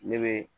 Ne bɛ